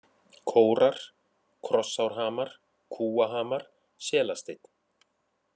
Kórar, Krossárhamar, Kúahamar, Selasteinn